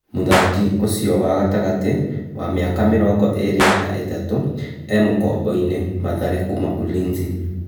Mũthaki ũcio wa gatagatĩ , wa mĩ aka mĩ rongo ĩ rĩ na ĩ tatũ, e mũkomboinĩ Mathare kuma Ulinzi.